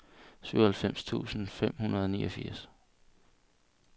syvoghalvfems tusind fem hundrede og niogfirs